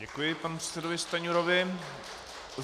Děkuji panu předsedovi Stanjurovi.